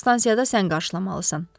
Onu stansiyada sən qarşılamalısan.